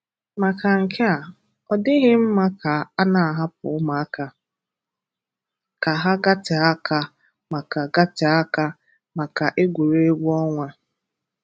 Maka nke a, ọ dịghị mmà ka a na-ahàpụ̀ ụmụaka ka ha gàtèe àkà maka gàtèe àkà maka egwuregwu ọnwa.